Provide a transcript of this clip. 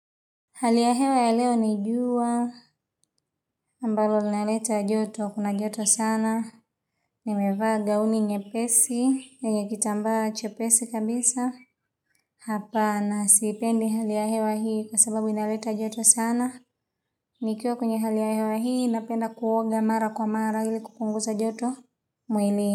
Hali ya hewa ya leo ni jua, ambalo linaleta joto, kuna joto sana, nimevaa gauni nyepesi, yenye kitamba chepesi kabisa, hapana sipendi hali ya hewa hii kwa sababu linaleta joto sana, nikiwa kwenye hali ya hewa hii napenda kuoga mara kwa mara ili kupunguza joto mwilini.